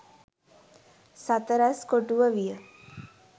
සතරැස් කොටුව විය.